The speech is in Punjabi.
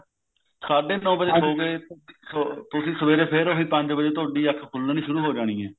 ਸਾਡੇ ਨੋ ਵਜੇ ਸੋ ਗਏ ਤੁਸੀਂ ਸਵੇਰੇ ਫੇਰ ਉਹੀ ਪੰਜ ਵਜੇ ਤੁਹਾਡੀ ਅੱਖ ਖੁਲਨੀ ਸ਼ੁਰੂ ਹੋ ਜਾਣੀ ਐ